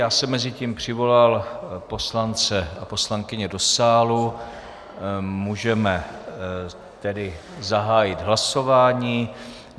Já jsem mezi tím přivolal poslance a poslankyně do sálu, můžeme tedy zahájit hlasování.